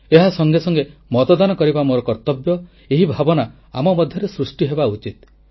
ଏହା ସଙ୍ଗେ ସଙ୍ଗେ ମତଦାନ କରିବା ମୋର କର୍ତ୍ତବ୍ୟ ଏହି ଭାବନା ଆମ ମଧ୍ୟରେ ସୃଷ୍ଟି ହେବା ଉଚିତ